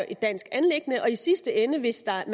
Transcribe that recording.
et dansk anliggende og i sidste ende hvis der